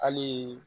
Hali